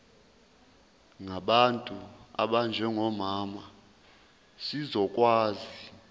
ngabantu abanjengomama zizokwazi